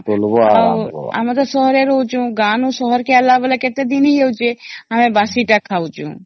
ଆଉ ଆମେ ତ ସହର ରେ ରହୁଚୁ ଗାଁ ରୁ ସହର କେ ଆଣିଲା ବେଳେ କେତେ ଦିନ ହେଇ ଯାଉଛେ ଆଉ ଆମେ ବାସି ତ ଖାଉଚୁ